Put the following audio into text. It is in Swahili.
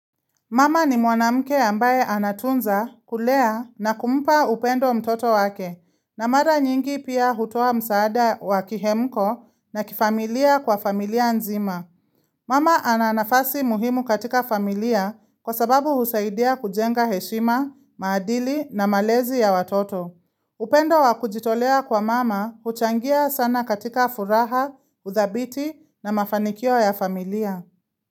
Mama ni mwanamke ambaye anatunza kulea na kumpa upendo mtoto wake, na mara nyingi pia hutoa msaada wa kihemko na kifamilia kwa familia nzima. Mama ananafasi muhimu katika familia kwa sababu husaidia kujenga heshima, maadili na malezi ya watoto. Upendo wa kujitolea kwa mama huchangia sana katika furaha, uthabiti na mafanikio ya familia.